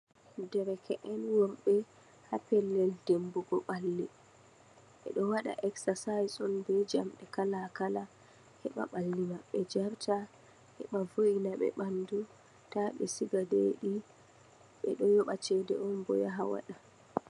Derke'en worɓe ha pellel dimbugo ɓalli. Ɓe ɗo waɗa eksasais on be jamɗe kala-kala, heɓa ɓalli maɓɓe jarta, heɓa vo'ina ɓe ɓandu, ta ɓe siga deeɗi. Ɓe ɗo yoba cede on bo yaha waɗa.